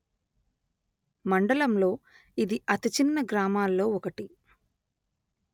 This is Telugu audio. మండలంలో ఇది అతిచిన్న గ్రామాల్లో ఒకటి